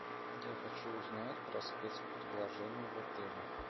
я хочу узнать про спец предложение в отеле